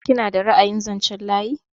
Kina da ra'ayin zanchen layi?